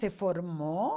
Se formou.